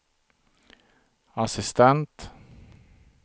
assistent